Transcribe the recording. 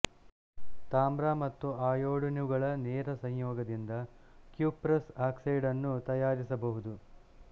ತಾಮ್ರ ಮತ್ತು ಅಯೋಡಿನುಗಳ ನೇರ ಸಂಯೋಗದಿಂದ ಕ್ಯುಪ್ರಸ್ ಆಕ್ಸೈಡನ್ನು ತಯಾರಿಸಬಹುದು